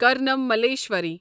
کارنام ملیشوری